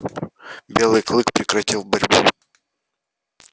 белый клык прекратил борьбу